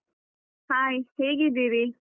Hai ಹೇಗಿದ್ದೀರಿ?